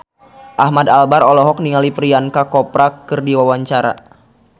Ahmad Albar olohok ningali Priyanka Chopra keur diwawancara